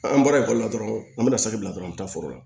An bɔra ekɔli la dɔrɔn an bɛna saki bila dɔrɔn an bɛ taa foro la